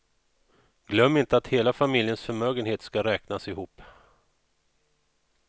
Glöm inte att hela familjens förmögenhet ska räknas ihop.